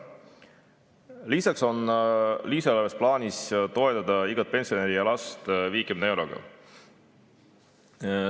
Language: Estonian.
Lisaks on lisaeelarves plaanis toetada igat pensionäri ja last 50 euroga.